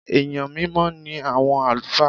Èèyàn mímọ́ ní àwọn àlùfáà.